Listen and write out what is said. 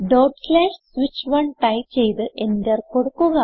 switch1 type ചെയ്ത് enter കൊടുക്കുക